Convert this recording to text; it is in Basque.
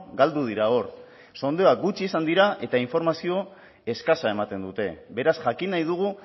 galdu dira hor sondeoak gutxi izan dira eta informazio eskasa ematen dute beraz jakin nahi dugu